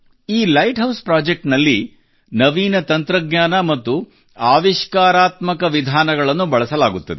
ಈ lighthouse Projectsನಲ್ಲಿ ನವೀನ ತಂತ್ರಜ್ಞಾನ ಮತ್ತು ಆವಿಷ್ಕಾರಾತ್ಮಕ ವಿಧಾನಗಳನ್ನು ಬಳಸಲಾಗುತ್ತದೆ